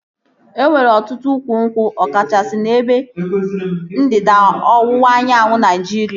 E nwere ọtụtụ ukwu nkwụ ọ kachasị n'ebe ndịda ọwụwa anyanwụ Naịjiria